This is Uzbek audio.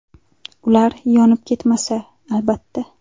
Ular yonib ketmasa, albatta.